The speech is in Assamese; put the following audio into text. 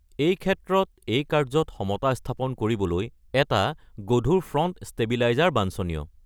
এই ক্ষেত্ৰত এই কাৰ্য্যত সমতা স্থাপন কৰিবলৈ এটা গধুৰ ফ্ৰন্ট ষ্টেবিলাইজাৰ বাঞ্ছনীয়।